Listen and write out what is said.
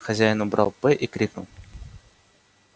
хозяин убрал п и крикнул